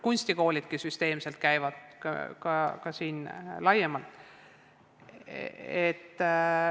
Kunstikoolidki käivad seal süsteemselt.